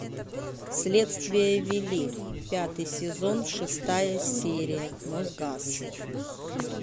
следствие вели пятый сезон шестая серия мосгаз